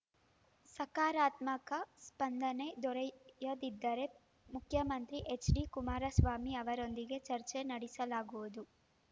ಸಕಾರಾತ್ಮಕ ಸ್ಪಂದನೆ ದೊರೆಯದಿದ್ದರೆ ಮುಖ್ಯಮಂತ್ರಿ ಎಚ್‌ಡಿ ಕುಮಾರಸ್ವಾಮಿ ಅವರೊಂದಿಗೆ ಚರ್ಚೆ ನಡೆಸಲಾಗುವುದು